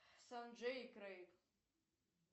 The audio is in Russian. санджей и крейг